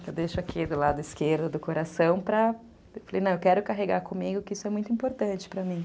Que eu deixo aqui do lado esquerdo do coração para... Eu falei, não, eu quero carregar comigo que isso é muito importante para mim.